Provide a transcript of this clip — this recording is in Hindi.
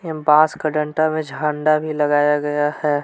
एक बांस का डंडा में झंडा भी लगाया गया है।